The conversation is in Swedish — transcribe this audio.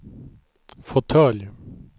fåtölj